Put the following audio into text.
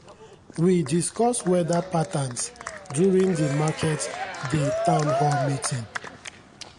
we discuss weda patterns during di market-day town hall meeting.